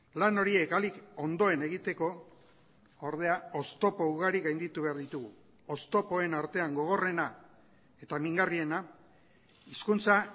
lan horiek ahalik ondoen egiteko ordea oztopo ugari gainditu behar ditugu oztopoen artean gogorrena eta mingarriena hizkuntza